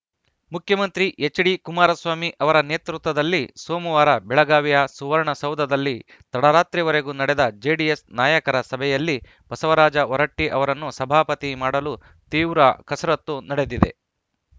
ಮುಖ್ಯಮಂತ್ರಿ ಎಚ್‌ಡಿಕುಮಾರಸ್ವಾಮಿ ಅವರ ನೇತೃತ್ವದಲ್ಲಿ ಸೋಮವಾರ ಬೆಳಗಾವಿಯ ಸುವರ್ಣ ಸೌಧದಲ್ಲಿ ತಡರಾತ್ರಿವರೆಗೂ ನಡೆದ ಜೆಡಿಎಸ್‌ ನಾಯಕರ ಸಭೆಯಲ್ಲಿ ಬಸವರಾಜ ಹೊರಟ್ಟಿಅವರನ್ನು ಸಭಾಪತಿ ಮಾಡಲು ತೀವ್ರ ಕಸರತ್ತು ನಡೆದಿದೆ